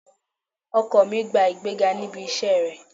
Ọkọ mi gba ìgbéga níbi iṣẹ́ rẹ̀